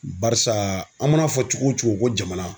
Barisa an mana fɔ cogo o cogo ko jamana.